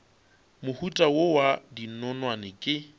mohuta wo wa dinonwane ke